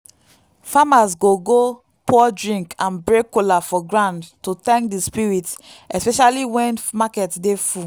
farmers go go pour drink and break kola for ground to thank the spirits especially when market dey full.